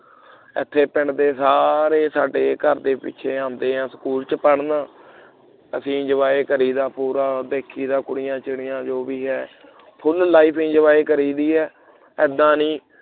ਇਥੇ ਪਿੰਡ ਦੇ ਸਾਰੇ ਸਾਡੇ ਘਰ ਦੇ ਪਿੱਛੇ ਆਉਂਦੇ ਹੈ school ਦੇ ਵਿੱਚ ਪੜ੍ਹਨ ਅਸੀਂ enjoy ਕਰਦੀ ਦਾ ਪੂਰਾ ਦੇਖੀ ਦਾ ਕੁੜੀਆਂ-ਚਿੜੀਆਂ ਜੋ ਵੀ ਹੈ full life enjoy ਕਰੀ ਦੀ ਹੈ ਇੱਦਾਂ ਨਹੀਂ